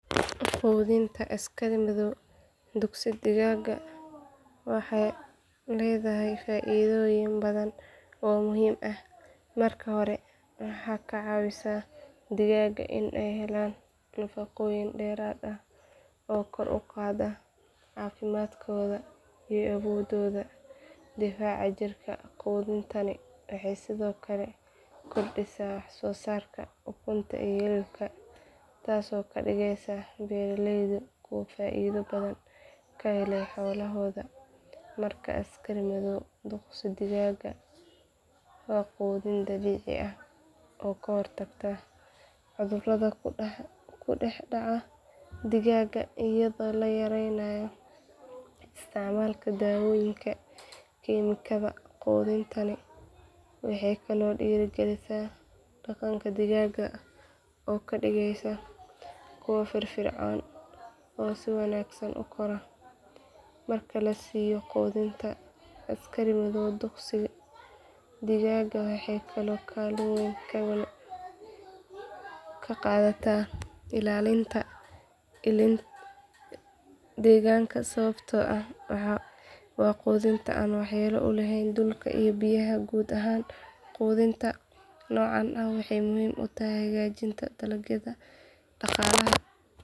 Qudinta askari madow dugsi digaga waxee ledahay faidoyin badan oo muhiim ah marka hore maxaa ka cawisa cuntoyinka in ee helan nafaqoyin deeraad ah oo kor u qada cafimaadkodha iyo abododa difaca jirka qudhintani waxee sithokale kordisa wax sosarka ukunta iyo hilibka tasi oo kadigeysa beera leydu kuwa faido badan ka hele xolahodha markas askari madow oo qudin dabici ah ooka hortagta oo kuca cudhuraada kudex daca digaga tas oo la yareynaya isticmalka dawoyinka kemikada qudinta leh waxee kalo dira galisa daqanka deganka oo kadigeysa kuwa fir fircon oo si wanagsan ukora marki lasiyo qudinta askari madow dugsi digaga waxee ka qadataa ilalinta deganka sawbto ah waa qudinta an wax yelo dorka iyo biya ahan qudinta nocan wexee muhiim otahay hagajinta dalagyaada daqalaha.